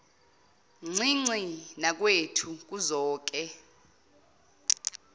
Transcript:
ncinci nakwethu kuzoke